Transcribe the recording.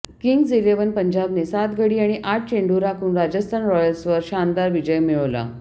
kings Eleven पंजाबने सात गडी आणि आठ चेंडू राखून राजस्थान रॉयल्सवर शानदार विजय मिळवला